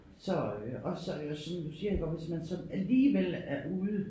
Så øh også som du siger iggå hvis man så alligevel er ude